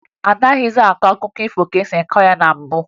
Anaghịzị akọ akụkọ ifo ka e si akọ ya na mbụ